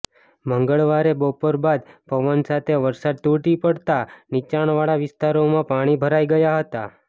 મંગળવારે બપોર બાદ પવન સાથે વરસાદ તૂટી પડતા નીચાણવાળા વિસ્તારોમાં પાણી ભરાઇ ગયા હતા